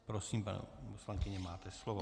Prosím, paní poslankyně, máte slovo.